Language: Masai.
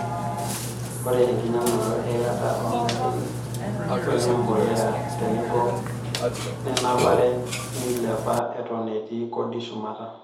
Oree enkinyangunoto e ilata oogarin, wenembolea, tenebo o nenapare neilepa eton etii kodii shumata.